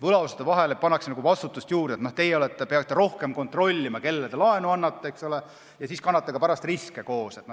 Võlausaldajatele pannakse vastutust juurde, nad peavad rohkem kontrollima, kellele nad laenu annavad, ja siis kannavad pärast ka riske koos.